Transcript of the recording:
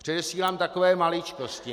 Předesílám takové maličkosti.